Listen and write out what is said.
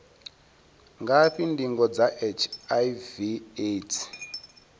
ngafhi ndingo dza hiv aids